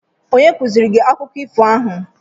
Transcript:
Onye kuziri gi akụkọ ifo a?